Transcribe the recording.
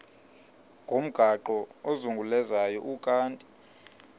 ngomgaqo ozungulezayo ukanti